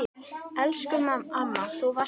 Elsku amma, þú varst frábær.